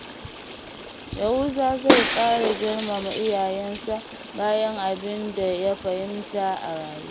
Yahuza zai ƙara girmama iyayensa bayan abin da ya fahimta a rayuwa.